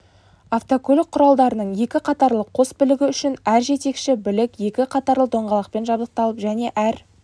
автокөлік құралдарының екі қатарлы қос білігі үшін әр жетекші білік екі қатарлы доңғалақпен жабдықталып және әр